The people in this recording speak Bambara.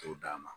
T'o d'a ma